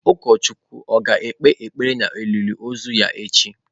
Ụkọchukwu ọ̀ ga-ekpe ekpere na olili ozu ya echi?